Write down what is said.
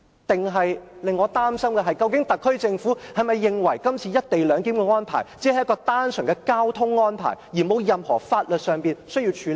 但令我擔心的是，究竟特區政府是否認為這次"一地兩檢"安排只是單純的交通安排，沒有任何法律事項需要處理呢？